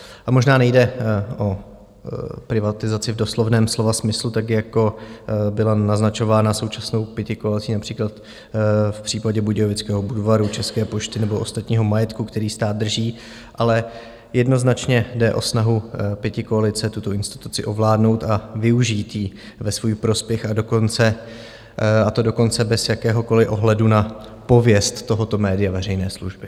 A možná nejde o privatizaci v doslovném slova smyslu, tak jako byla naznačována současnou pětikoalicí například v případě budějovického Budvaru, České pošty nebo ostatního majetku, který stát drží, ale jednoznačně jde o snahu pětikoalice tuto instituci ovládnout a využít ji ve svůj prospěch, a to dokonce bez jakéhokoli ohledu na pověst tohoto média veřejné služby.